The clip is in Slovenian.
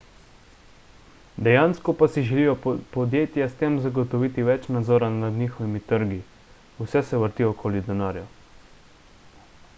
dejansko pa si želijo podjetja s tem zagotoviti več nadzora nad njihovimi trgi vse se vrti okoli denarja